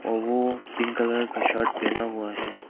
और वो pink colour का शर्ट पहना हुआ है।